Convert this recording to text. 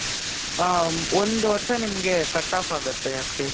ಹ , ಒಂದ್ ವರ್ಷ ನಿಮಿಗೆ cutoff ಆಗತ್ತೆ ಅಕ್ಷಯ್.